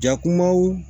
Jakumaw